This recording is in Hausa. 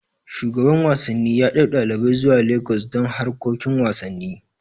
Shugaban wasanni yaɗau ɗalibai zuwa Lagos don harkokin wasanni